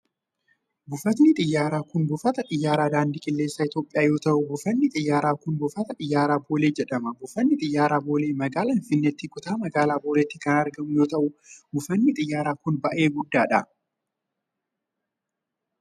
Buufatni xiyyaaraa kun buufata xiyyaaraa daandii qilleensaa Itoophiyaa yoo ta'u, buufanni xiyyaaraa kun Buufata Xiyyaaraa Boolee jedhama. Buufanni Xiyyaaraa Boolee magaalaa Finfinneetti kutaa magaalaa Booleetti kan argamu yoo ta'u, buufanni xiyyaaraa kun baay'ee guddaa dha.